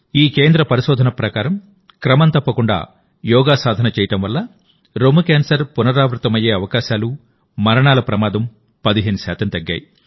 ఈ కేంద్ర పరిశోధన ప్రకారంక్రమం తప్పకుండా యోగా సాధన చేయడం వల్ల బ్రెస్ట్ క్యాన్సర్ పునరావృతమయ్యే అవకాశాలు మరణాల ప్రమాదం 15 శాతం తగ్గాయి